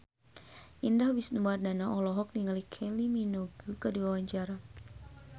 Indah Wisnuwardana olohok ningali Kylie Minogue keur diwawancara